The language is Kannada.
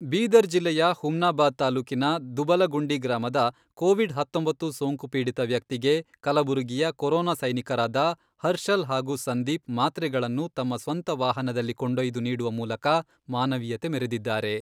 ಬೀದರ್ ಜಿಲ್ಲೆಯ ಹುಮ್ನಾಬಾದ್ ತಾಲೂಕಿನ ದುಬಲಗುಂಡಿ ಗ್ರಾಮದ ಕೋವಿಡ್ ಹತ್ತೊಂಬತ್ತು ಸೋಂಕು ಪೀಡಿತ ವ್ಯಕ್ತಿಗೆ ಕಲಬುರಗಿಯ ಕೊರೊನಾ ಸೈನಿಕರಾದ ಹರ್ಷಲ್ ಹಾಗೂ ಸಂದೀಪ್ ಮಾತ್ರೆಗಳನ್ನು ತಮ್ಮ ಸ್ವಂತ ವಾಹನದಲ್ಲಿ ಕೊಂಡೊಯ್ದು ನೀಡುವ ಮೂಲಕ ಮಾನವೀಯತೆ ಮೆರೆದಿದ್ದಾರೆ.